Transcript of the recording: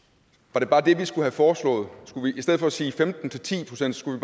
var det bare det vi skulle have foreslået i stedet for at sige fra femten til ti procent skulle